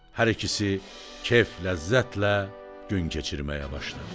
Hər ikisi keyf-ləzzətlə gün keçirməyə başladı.